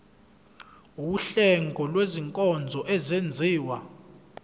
wuhlengo lwezinkonzo ezenziwa